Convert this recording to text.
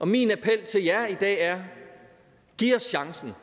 min appel til jer i dag er giv os chancen